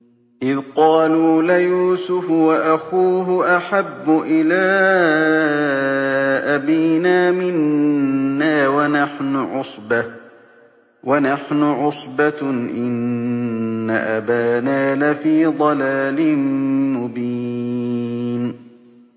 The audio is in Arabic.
إِذْ قَالُوا لَيُوسُفُ وَأَخُوهُ أَحَبُّ إِلَىٰ أَبِينَا مِنَّا وَنَحْنُ عُصْبَةٌ إِنَّ أَبَانَا لَفِي ضَلَالٍ مُّبِينٍ